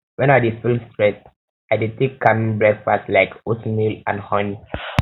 when i dey feel stressed i dey take calming breakfast like oatmeal and honey